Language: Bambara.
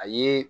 A ye